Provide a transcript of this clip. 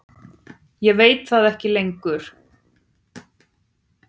Ég veit það ekki lengur.